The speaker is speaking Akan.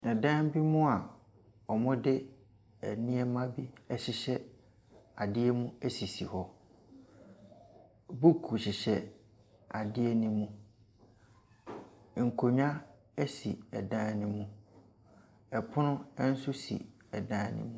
Dan bi mu a wɔde nneɛma bi ahyehyɛ adeɛ mu sisi hɔ. Book hyehyɛ adeɛ no mu. Nkonnwa si dan no mu. Pono nso si dan no mu.